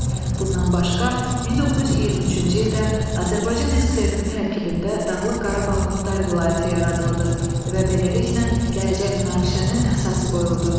Bundan başqa, 1923-cü ildə Azərbaycan SSR-nin tərkibində Dağlıq Qarabağ Muxtar Vilayəti yaradıldı və beləliklə, gələcək münaqişənin əsası qoyuldu.